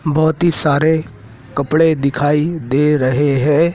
बहोत ही सारे कपड़े दिखाई दे रहे हैं।